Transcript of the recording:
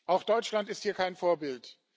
Auch Deutschland ist hier kein Vorbild.